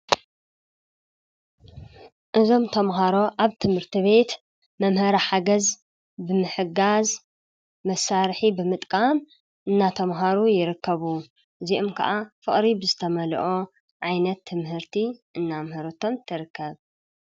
እዞም ተምሃሮ ኣብ ትምህርቲ ቤት መምህራ ሓገዝ ብምሕጋዝ መሣርሒ ብምጥቃም እናተምሃሩ ይረከቡ ዚኡም ከዓ ፍቕሪብዝተመልኦ ዓይነት ትምህርቲ እናምህረቶም ተርከብ።